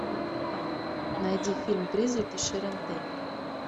найди фильм призраки шэрон тейт